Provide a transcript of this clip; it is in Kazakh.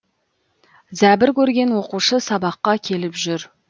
зәбір көрген оқушы сабаққа келіп жүр